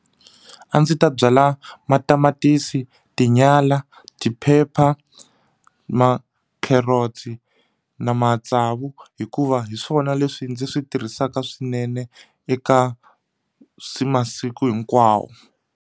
A ndzi ta byala matamatisi tinyala tiphepha makherotsi na matsavu hikuva hi swona leswi ndzi swi tirhisaka swinene eka swi masiku hinkwawo.